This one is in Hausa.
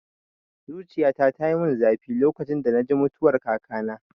Zuciyata tayi mun zafi lokacin da naji mutuwar kakana